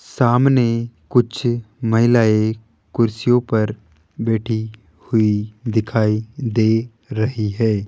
सामने कुछ महिलाएं कुर्सियों पर बैठी हुई दिखाई दे रही है।